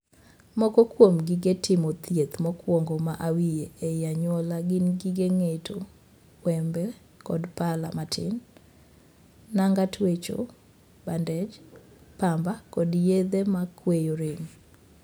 Moko kuom gige timo thieth mokuongo ma awiye ei anyuola gin gige ng'eto ('wembe' kod pala matin), nanga twecho ('bandej'), 'pamba', kod yedhe makweyo rem.